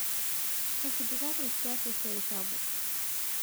kakiti kake kias esiai sapuk